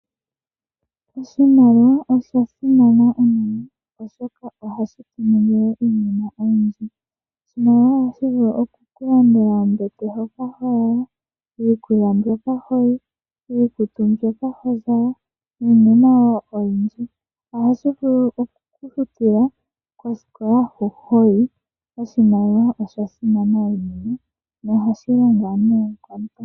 Oshimaliwa osha simana unene, oshoka ohashi vulu okutu ningila iinima oyindji. Oshimaliwa otashi vulu okulanda ombete hoka to lala, iikulya mbyoka to li, iikutu mbyoka to zala niinima wo oyindji. Otashi vulu oku ku futila osikola. Oshimaliwa osha simana unene.